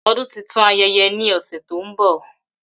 Odun titun ayẹyẹ ni ose to nbo.